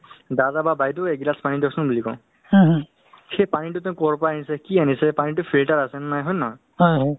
নিজৰ শৰীৰক শৰীৰটো মানে doctor ৰ ওচৰত গৈ পেলাই যিহেতু আমাৰ civil ত free ত অ free ত মানে আপোনাৰ blood check up হয় ন